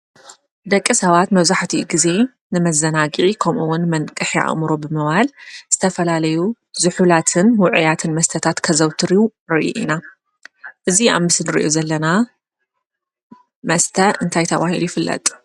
ደቂ ሰባት መብዛሕትኡ ግዜ ንመዘናግዒ ከምኡውን ንመንቅሒ ኣእምሮ ብምባል ዝተፈላለዩ ዝሑላትን ውዑያትን መስተታት ከዘውትሩ ንርኢ ኢና፡፡ እዚ ኣብ ምስሊ ንሪኦ ዘለና መስተ እንታይ ተባሂሉ ይፍለጥ?